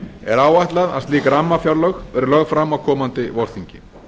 er áætlað að slík rammafjárlög verði lögð fram á komandi vorþingi